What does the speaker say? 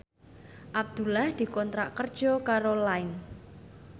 Abdullah dikontrak kerja karo Line